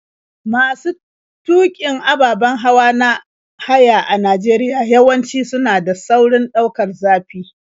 Masu tuƙin ababen hawa na haya a Najeriya yawanci suna da saurin ɗaukar zafi.